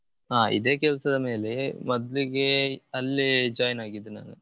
ಹಾ ಇದೆ ಕೆಲ್ಸದ ಮೇಲೆ ಮೊದ್ಲಿಗೆ ಅಲ್ಲೇ join ಆಗಿದ್ದು ನಾನು.